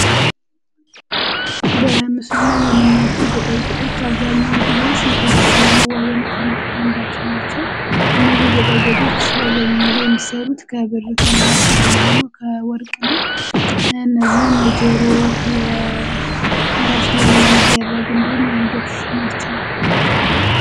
በምስሉ ላይ የሚናያቸው የጌጣጌጦች አብዛኛው ጊዜ ሴቶች ለመዋዊነት የሚተገምባቸው ናቸው እነዚህ የጠጌጦች የአብዛኛን ጊዜ የሚሰሩት ከብር ከነሐስ እንዲሁም ደግሞ ከወርቅ ነው ።እነዚህም የጀሮ ፣የከራስ ላይ የሚደረግ እንዲሁም የአንገት ናቸው።